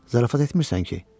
Zarafat etmirsən ki?